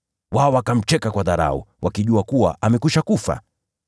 Wao wakamcheka kwa dharau, wakijua kuwa amekwisha kufa.